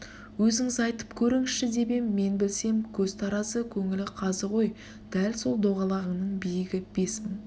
өзіңіз айтып көріңізші деп ем мен білсем көз таразы көңіл қазы ғой дәл сол доғалаңның биігі бес мың